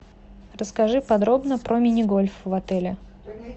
расскажи подробно про мини гольф в отеле